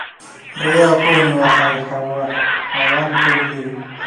Riyaha Kuwani waa xayawaan xoog leh.